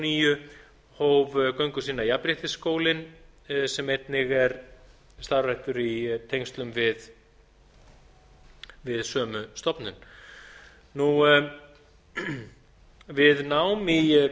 níu hóf göngu sína jafnréttisskólinn sem einnig er starfræktur í tengslum við sömu stofnun við nám í